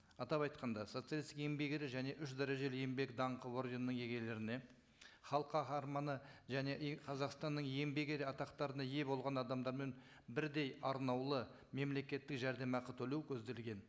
атап айтқанда социалисттік еңбек ері және үш дәрежелі еңбек даңқы орденінің иегерлеріне халық қаһарманы және қазақстанның еңбек ері атақтарына ие болған адамдармен бірдей арнаулы мемлекеттік жәрдемақы төлеу көзделген